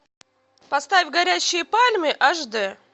поставь горящие пальмы аш д